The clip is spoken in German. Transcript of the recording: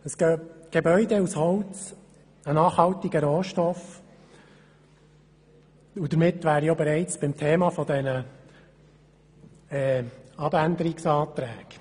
Ein Gebäude aus Holz, einem nachhaltiger Rohstoff: Damit wäre ich bereits bei den Themen der Abänderungsanträge.